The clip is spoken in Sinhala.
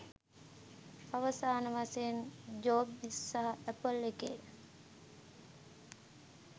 අවසාන වශයෙන් ජොබ්ස් සහ ඇපල් එකේ